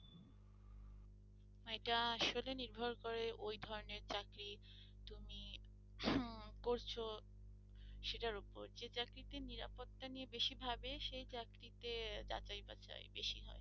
এটা আসলে নির্ভর করে ওই ধরনের চাকরি তুমি করছ সেটার উপর যে চাকরিতে নিরাপত্তা নিয়ে বেশি ভাবে সেই চাকরিতে যাচাই-বাছাই বেশি হয়।